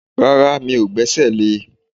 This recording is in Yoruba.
Rárá, mi ò gbẹ́sẹ̀ le